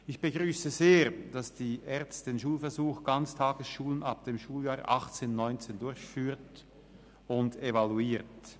Ich begrüsse es sehr, dass die ERZ den Schulversuch Ganztagesschulen ab dem Schuljahr 2018/19 durchführt und evaluiert.